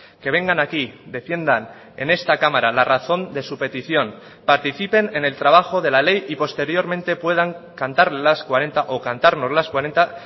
que vengan aquí defiendan en esta cámara la razón de su petición participen en el trabajo de la ley y posteriormente puedan cantar las cuarenta o cantarnos las cuarenta